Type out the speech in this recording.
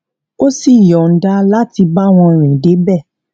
ó sì yọnda láti bá wọn rì dé bẹẹ